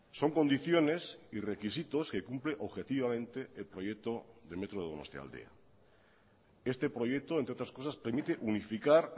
son condiciones y requisitos que cumple objetivamente el proyecto de metro donostialdea este proyecto entre otras cosas permite unificar